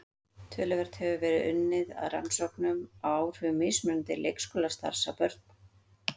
Töluvert hefur verið unnið að rannsóknum á áhrifum mismunandi leikskólastarfs á börn.